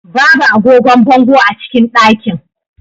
Babu agogon bango a cikin ɗakin.